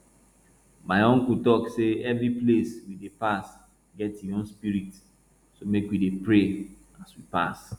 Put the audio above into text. my uncle talk say every place we dey pass get im own spirit so make we dey pray as we pass